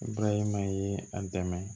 Bayɛlɛmali a dɛmɛ